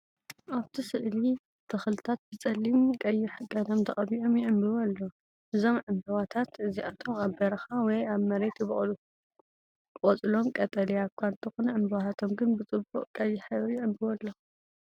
ኣብቲ ስእሊ ተኽልታት ብጸሊም ቀይሕ ቀለም ተቐቢኦም ይዕምብቡ ኣለዉ። እዞም ዕምባባታት እዚኣቶም ኣብ በረኻ ወይ ኣብ መሬት ይበቁሉ። ቆጽሎም ቀጠልያ እኳ እንተኾነ፡ ዕምባባታቶም ግን ብጽቡቕ ቀይሕ ሕብሪ ይዕምብቡ ኣለዉ።